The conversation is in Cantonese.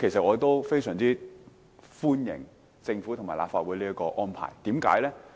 我亦非常歡迎政府和立法會這個安排，何解？